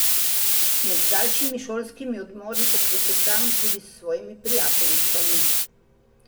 Med daljšimi šolskimi odmori poklepetam tudi s svojimi prijateljicami.